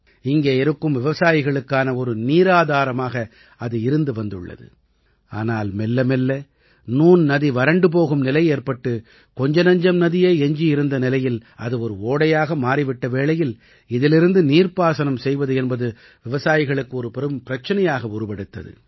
இங்கே இருக்கும் விவசாயிகளுக்கான ஒரு நீராதாரமாக இது இருந்து வந்துள்ளது ஆனால் மெல்லமெல்ல நூன் நதி வறண்டு போகும் நிலை ஏற்பட்டு கொஞ்சநஞ்சம் நதியே எஞ்சி இருந்த நிலையில் அது ஒரு ஓடையாக மாறி விட்ட வேளையில் இதிலிருந்து நீர்ப்பாசனம் செய்வது என்பது விவசாயிகளுக்கு ஒரு பெரும் பிரச்சனையாக உருவெடுத்தது